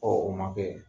o ma kɛ